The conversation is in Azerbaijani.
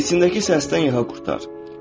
İçindəki o səsdən yaxa qurtar.